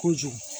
Kojugu